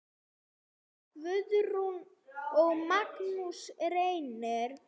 Guðrún og Magnús Reynir.